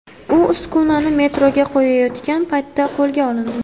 U uskunani metroga qo‘yayotgan paytda qo‘lga olindi.